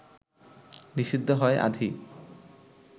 নিষিদ্ধ' হয় আঁধি